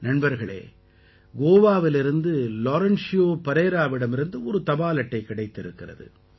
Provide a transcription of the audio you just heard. நண்பர்களே கோவாவிலிருந்து லாரென்ஷியோ பரேராவிடமிருந்து ஒரு தபால் அட்டை கிடைத்திருக்கிறது